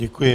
Děkuji.